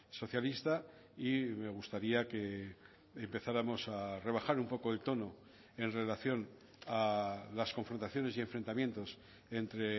socialista y me gustaría que empezáramos a rebajar un poco el tono en relación a las confrontaciones y enfrentamientos entre